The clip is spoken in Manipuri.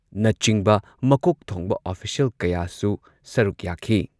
ꯅꯆꯤꯡꯕ ꯃꯀꯣꯛ ꯊꯣꯡꯕ ꯑꯣꯐꯤꯁꯤꯌꯦꯜ ꯀꯌꯥꯁꯨ ꯁꯔꯨꯛ ꯌꯥꯈꯤ꯫